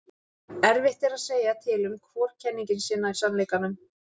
erfitt er að segja til um hvor kenningin sé nær sannleikanum